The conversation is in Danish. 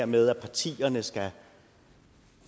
med at partierne skal